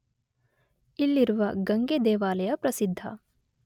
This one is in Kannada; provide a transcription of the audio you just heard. ಇಲ್ಲಿರುವ ಗಂಗೆ ದೇವಾಲಯ ಪ್ರಸಿದ್ಧ.